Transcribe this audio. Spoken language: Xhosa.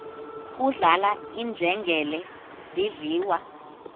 kudlala iinjengele zidliwa